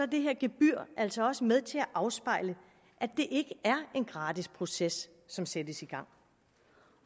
det her gebyr altså også med til at afspejle at det er en gratis proces som sættes i gang